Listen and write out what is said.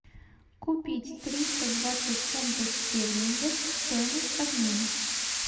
купить триста двадцать фунтов стерлингов стоимость обмена